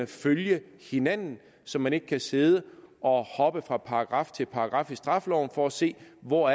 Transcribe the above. følge hinanden så man ikke kan sidde og hoppe fra paragraf til paragraf i straffeloven for at se hvor